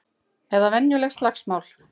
Eða venjuleg slagsmál.